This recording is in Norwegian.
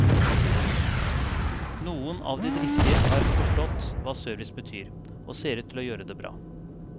Noen av de driftige har forstått hva service betyr, og ser ut til å gjøre det bra.